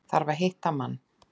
Þarf að hitta mann.